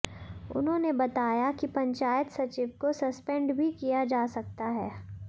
उन्होंने बताया कि पंचायत सचिव को सस्पेंड भी किया जा सकता है